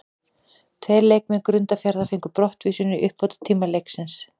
Tveir leikmenn Grundarfjarðar fengu brottvísun í uppbótartíma leiksins.